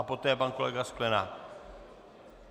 A poté pan kolega Sklenák.